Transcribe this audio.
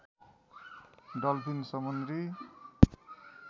dolphin समुद्री